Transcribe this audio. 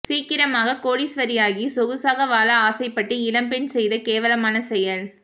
சீக்கிரமாக கோடீஸ்வரியாகி சொகுசாக வாழ ஆசைப்பட்டு இளம்பெண் செய்த கேவலமான செயல்